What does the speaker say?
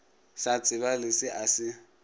sa tsebale se a se